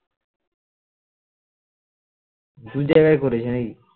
দুজায়গায় করেছে নাকি